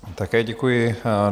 Také děkuji.